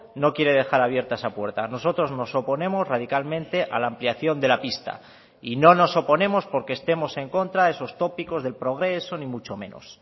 no quiere dejar abierta esa puerta nosotros nos oponemos radicalmente a la ampliación de la pista y no nos oponemos porque estemos en contra de esos tópicos del progreso ni mucho menos